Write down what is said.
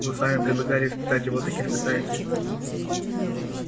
вы сами предлагали испытать его так испытайте